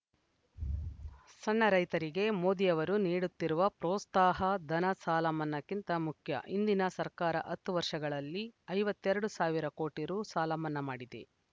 ಸಣ್ಣ ರೈತರಿಗೆ ಮೋದಿ ಅವರು ನೀಡುತ್ತಿರುವ ಪೋತ್ಸಾಹ ಧನ ಸಾಲಮನ್ನಾಕ್ಕಿಂತ ಮುಖ್ಯ ಹಿಂದಿನ ಸರ್ಕಾರ ಹತ್ತು ವರ್ಷಗಳಲ್ಲಿ ಐವತ್ತೆರಡು ಸಾವಿರ ಕೋಟಿ ರುಸಾಲಮನ್ನಾ ಮಾಡಿದೆ